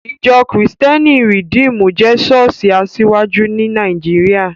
Ìjọ́ kìrìtẹ́nì Rìdímù jẹ́ ṣọ́ọ̀ṣì asiwaju ní Nàìjíríà